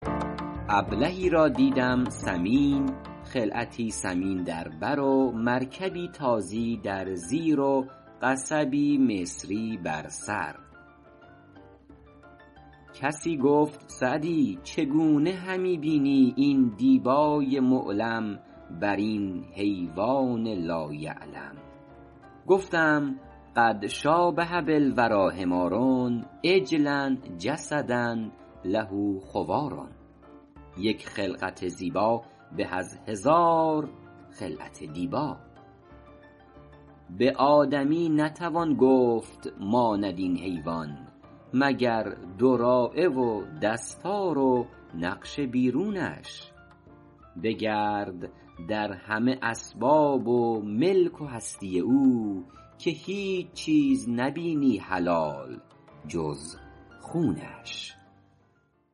ابلهی را دیدم سمین خلعتی ثمین در بر و مرکبی تازی در زیر و قصبی مصری بر سر کسی گفت سعدی چگونه همی بینی این دیبای معلم بر این حیوان لا یعلم گفتم قد شٰابه بالوریٰ حمار عجلا جسدا له خوار یک خلقت زیبا به از هزار خلعت دیبا به آدمی نتوان گفت ماند این حیوان مگر دراعه و دستار و نقش بیرونش بگرد در همه اسباب ملک و هستی او که هیچ چیز نبینی حلال جز خونش